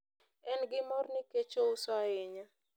en gi mor nikech ouso ahinya